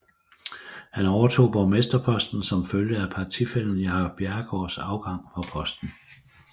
Han overtog borgmesterposten som følge af partifællen Jacob Bjerregaards afgang fra posten